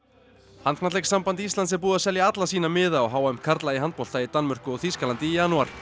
handknattleikssamband Íslands er búið að selja alla sína miða á h m í handbolta í Danmörku og Þýskalandi í janúar